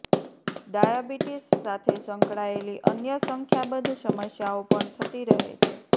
diabetes સાથે સંકળાયેલી અન્ય સંખ્યાબંધ સમસ્યાઓ પણ થતી રહે છે